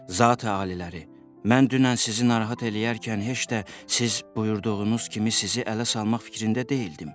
Zati aliləri, mən dünən sizi narahat eləyərkən heç də siz buyurduğunuz kimi sizi ələ salmaq fikrində deyildim.